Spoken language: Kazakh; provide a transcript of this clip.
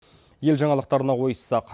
ел жаңалықтарына ойыссақ